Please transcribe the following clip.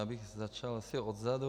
Já bych začal asi odzadu.